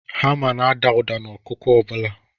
Hama na-ada ụda n'ọkụkụ ọ bụla.